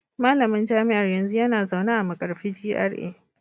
Malamin jami'ar yanzu yana zaune a Markarfi GRA